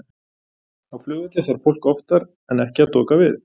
á flugvelli þarf fólk oftar en ekki að doka við